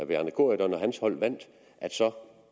bjarne corydon og hans hold vandt